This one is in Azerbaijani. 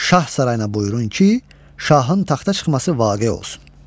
Şah sarayına buyurun ki, şahın taxta çıxması vaqe olsun.